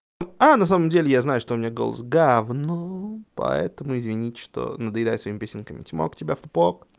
на самом деле я знаю что у меня голос гавно поэтому извините что надоедаю своими песенками чмок тебя в пок